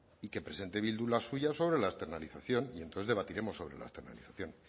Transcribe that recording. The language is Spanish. y que presente bildu la suya sobre la externalización y entonces debatiremos sobre la externalización